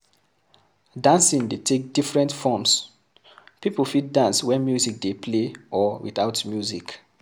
Dancing dey take different forms, pipo fit dance when music dey play or without music